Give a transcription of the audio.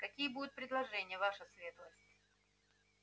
какие будут предложения ваша светлость